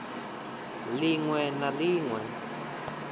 ḽ iṅwe na ḽ iṅwe